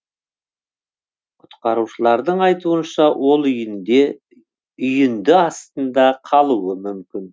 құтқарушылардың айтуынша ол үйінде үйінді астында қалуы мүмкін